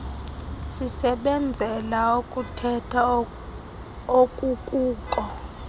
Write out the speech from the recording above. sisebenzela ukukhetha okukuko